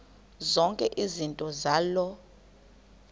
zonke izinto zaloo